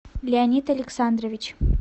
леонид александрович